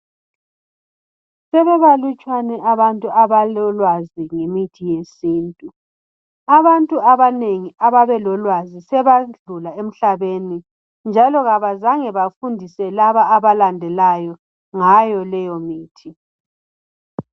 Sebebalutshwana abantu abalolwazi ngemithi yesintu. Abantu abanengi ababelolwazi, sebadlula emhlabeni. Njalo kabazange bafundise laba abalandelayo, ngayo leyomithi.